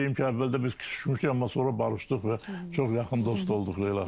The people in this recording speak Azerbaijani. Onu deyim ki, əvvəldə biz küçüşmüşdük, amma sonra barışdıq və çox yaxın dost olduq Leyla xanımla.